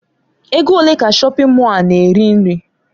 Ego ole ka shọpin Mọll a na-eri nri?